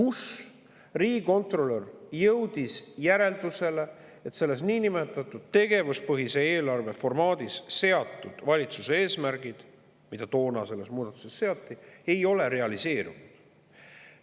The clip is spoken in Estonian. Seal jõudis riigikontrolör järeldusele, et selles niinimetatud tegevuspõhise eelarve formaadis valitsuse eesmärgid, mis toonase muudatusega seati, ei ole realiseerunud.